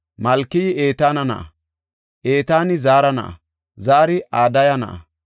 Malkey Etaana na7a; Etaani Zaara na7a; Zaari Adaya na7a;